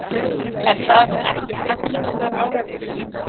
Er það ekki hagsmunaárekstur?